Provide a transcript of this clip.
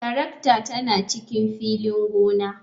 Tarakta tana cikin filin gona.